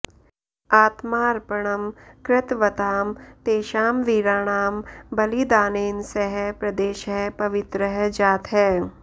आत्मार्पणं कृतवतां तेषां वीराणां बलिदानेन सः प्रदेशः पवित्रः जातः